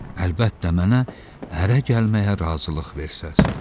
Əlbəttə mənə ərə gəlməyə razılıq versəz.